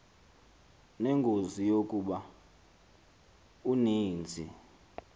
nengozi yokuba uninzi